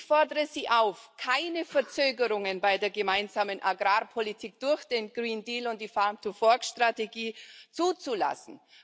Ich fordere Sie auf, keine Verzögerungen bei der gemeinsamen Agrarpolitik durch den Green Deal und die Farm to Fork Strategie zuzulassen.